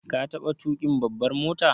Ka taɓa tuƙin babbar mota?